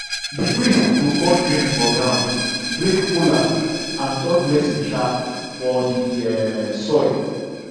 the priest go pour drink for ground break kola and talk blessing um for the um soil